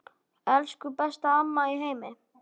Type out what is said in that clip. Elsku besta amma í heimi.